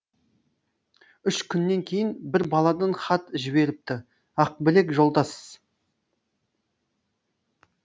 үш күннен кейін бір баладан хат жіберіпті ақбілек жолдас